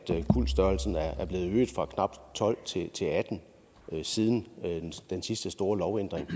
kuldstørrelsen er blevet øget fra knap tolv til atten siden den sidste store lovændring